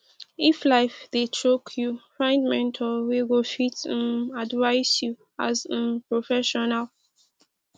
if life dey choke yu find mentor wey go fit um advice yu as um professional